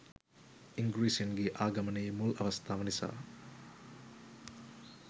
ඉංගී්‍රසින්ගේ ආගමනයේ මුල් අවස්ථාව නිසා